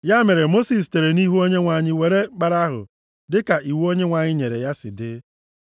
Ya mere Mosis sitere nʼihu Onyenwe anyị weere mkpara ahụ dịka iwu Onyenwe anyị nyere ya si dị.